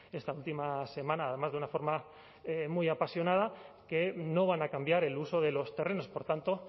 esta última semana además de una forma muy apasionada que no van a cambiar el uso de los terrenos por tanto